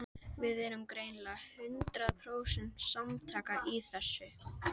Nokkuð er og um ýmiss konar innskot í jarðmyndunum landsins.